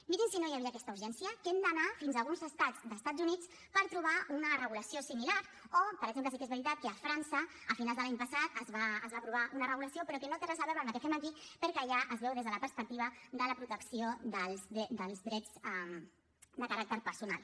mirin si no hi havia aquesta urgència que hem d’anar fins a alguns estats d’estats units per trobar una regulació similar o per exemple sí que és veritat que a frança a finals de l’any passat es va aprovar una regulació però que no té res a veure amb la que fem aquí perquè allà es veu des de la perspectiva de la protecció dels drets de caràcter personal